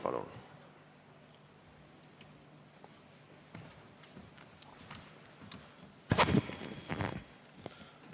Palun!